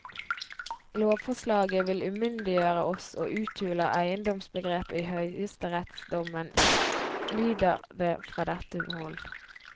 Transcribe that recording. Lovforslaget vil umyndiggjøre oss og uthuler eiendomsbegrepet i høyesterettsdommen, lyder det fra dette hold.